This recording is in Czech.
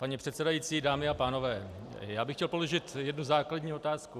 Paní předsedající, dámy a pánové, já bych chtěl položit jednu základní otázku.